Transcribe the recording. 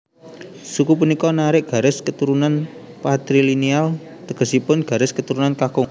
Suku punika narik garis keturunan patrilineal tegesipun garis keturunan kakung